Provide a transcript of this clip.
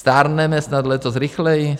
Stárneme snad letos rychleji?